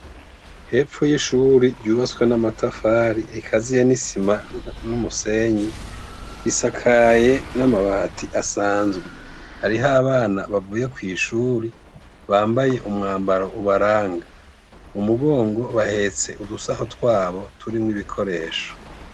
Hepfo y'ishuri ryubatswe n'amatafari ikaziye n'isima n'umusenyi , risakaye n'amabati asanzwe. Hariho abana bavuye kw'ishuri bambaye umwambaro ubaranga. Mu mugongo bahetse udusaho twabo turimwo ibikoresho .